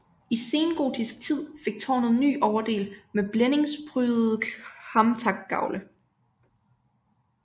I sengotisk tid fik tårnet ny overdel med blændingsprydede kamtakgavle